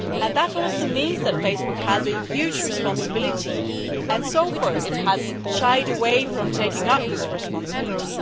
That also means that Facebook has a huge responsibility, and so far it has shied away from taking up this responsibility.